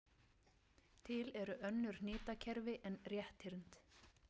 Til eru önnur hnitakerfi en rétthyrnd.